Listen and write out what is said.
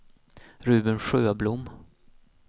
Ruben Sjöblom